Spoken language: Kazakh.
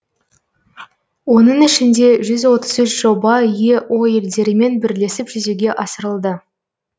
оның ішінде жүз отыз үш жоба ео елдерімен бірлесіп жүзеге асырылды